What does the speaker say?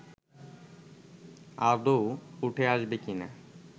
আদৌ উঠে আসবে কি না